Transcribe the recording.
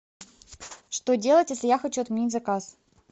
что делать если я хочу отменить заказ